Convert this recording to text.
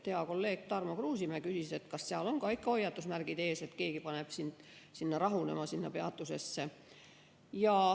Hea kolleeg Tarmo Kruusimäe küsis, kas seal on ikka ka hoiatusmärgid ees, kui keegi paneb sind rahunema sinna peatusesse.